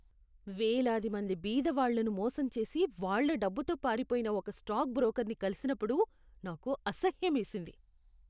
వేలాది మంది బీదవాళ్ళను మోసం చేసి వాళ్ళ డబ్బుతో పారిపోయిన ఒక స్టాక్ బ్రోకర్ని కలిసినప్పుడు నాకు అసహ్యమేసింది.